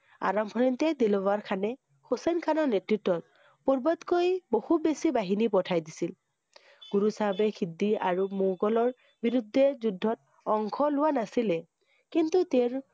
আৰম্ভণিতে দিলৱাৰ খানে, হুছেইন খানৰ নেতৃত্বত, পূৰ্বতকৈ বহুত বেছি বাহিনী পঠাই দিছিল। গুৰু চাহাবে সিদ্ধি আৰু মোগলৰ বিৰুদ্ধে যুদ্ধত অংশ লোৱা নাছিলে। কিন্তু তেওঁৰ